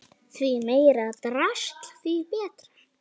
Því meira drasl þess betra.